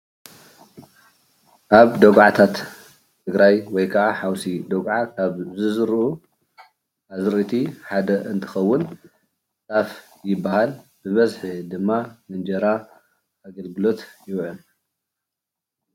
ኣብ ደጉዓታት ትግራይ ወይ ከዓ ሓውሲ ደጉዓ ኣብ ዝዝርኡ ኣዝርእቲ ሐደ እንትከውን ጣፍ ይበሃል። ብበዝሒ ድማ ንእንጀራ ኣገልግሎት ይውዕል ።